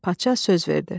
Padşah söz verdi.